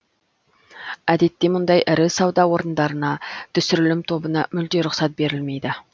әдетте мұндай ірі сауда орындарына түсірілім тобына мүлде рұқсат берілмейді